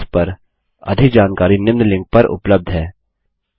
इस पर अधिक जानकारी निम्न लिंक पर उपलब्ध है